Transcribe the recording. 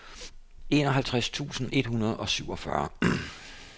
enoghalvtreds tusind et hundrede og syvogfyrre